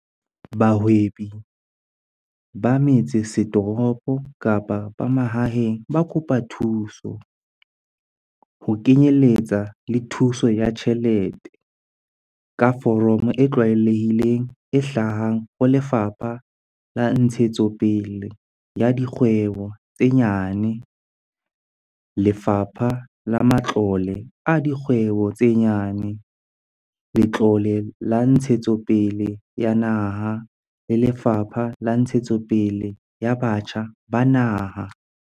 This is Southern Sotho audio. Bahwebi ba metsesetoropo kapa ba mahaeng ba ka kopa thuso, ho kenyeletsa le thuso ya tjhelete, ka foromo e tlwaelehileng e hlahang ho Lefapha la Ntshetsopele ya Dikgwebo tse Nyane, Lefapha la Matlole a Dikgwebo tse Nyane, Letlole la Ntshetsopele ya Naha, le Lefapha la Ntshetsopele ya Batjha ba Naha.